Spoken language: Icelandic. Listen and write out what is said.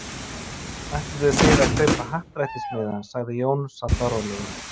Ætluðuð þið að kaupa happdrættismiða? sagði Jón, sallarólegur.